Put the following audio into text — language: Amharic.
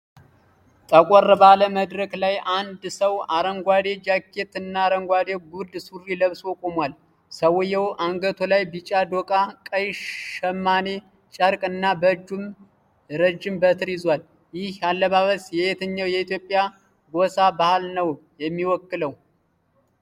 ጠቆር ባለ መድረክ ላይ፣ አንድ ሰው አረንጓዴ ጃኬት እና አረንጓዴ ጉርድ ሱሪ ለብሶ ቆሟል። ሰውዬው አንገቱ ላይ ቢጫ ዶቃ፣ ቀይ ሽማኔ ጨርቅ እና በእጁም ረዥም በትር ይዟል። ይህ አለባበስ የየትኛው የኢትዮጵያ ጎሳ ባህል ነው የሚወክለው?